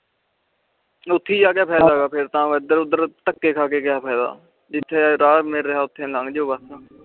ਓਥੇ ਜਾ ਕੇ ਫਾਇਦਾ ਫੇਰ ਤਾ ਐਡਰ ਉਦਰ ਧੱਕੇ ਖਾ ਕੇ ਕਯਾ ਫਾਇਦਾ ਜਿਥੇ ਰਾਹ ਮਿਲ ਰਿਹਾ ਓਥੇ ਲੱਗ ਜੋ ਬਸ